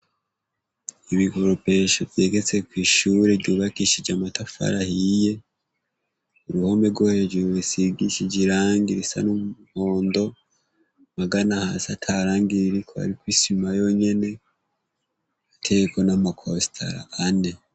Ibikoropesho vyegetse kw'ishure ryubakishije amatafari ahiye. Uruhome rwo hejuru rusigishije irangi risa n'umuhondo, magana hasi ata rangi ririko, hariko isima yonyene, ruteyeko n'amakostara ane.